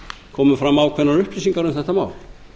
komu fram ákveðnar upplýsingar um þetta mál